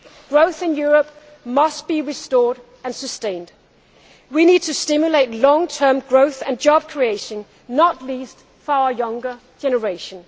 Growth in Europe must be restored and sustained. We need to stimulate long term growth and job creation, not least for our younger generation.